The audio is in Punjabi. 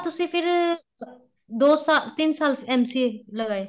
ਤੁਸੀਂ ਫੇਰ ਦੋ ਸਾਲ ਤਿੰਨ ਸਾਲ MCA ਲਗਾਏ